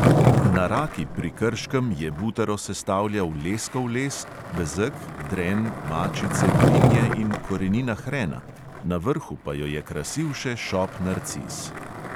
Na raki pri krškem je butaro sestavljal leskov les, bezeg, dren, mačice, brinje in korenina hrena, na vrhu pa jo je krasil še šop narcis.